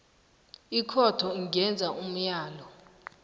ikhotho ingenza umlayo